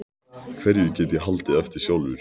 Hverju get ég haldið eftir sjálfur?